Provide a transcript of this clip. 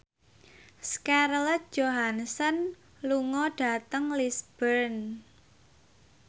Scarlett Johansson lunga dhateng Lisburn